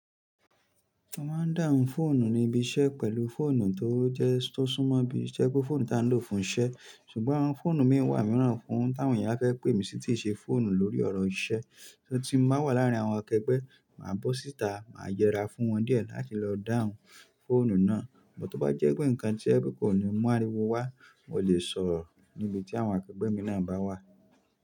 Mo máa ń dáhùn fóònù ní ibi iṣẹ́ pẹ̀lú fóònù tó jẹ́ tó súnmọ́ bí i isẹ́ pe fóònù tá n lò fún iṣẹ́. Ṣùgbọ́n àwọn fóònù mii wa mìíran fún táwọn èèyàn ba fẹ́ pé mí sì tii ṣe fóònù lórí ọ̀rọ̀ iṣẹ́. Tí n bá wà láárín àwọn akẹgbẹ́, màá bọ́ síta, màá yẹra fún wọn díẹ̀ láti lọ dáhùn fóònù náà. But, tó bá jẹ́ pé nǹkan ti o je pe kò ní mú àríwó wá, mo ò lè sọ̀rọ̀ níbi tí àwọn akẹgbẹ́ mi náà bá wà.